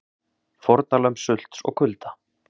Fórnarlömb sults og kulda?